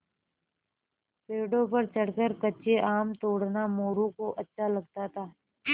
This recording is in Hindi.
पेड़ों पर चढ़कर कच्चे आम तोड़ना मोरू को अच्छा लगता था